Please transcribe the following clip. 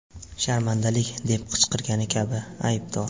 Sharmandalik!’ deb qichqirgani kabi ‘Aybdor!